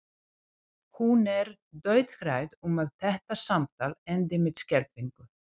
Hún er dauðhrædd um að þetta samtal endi með skelfingu.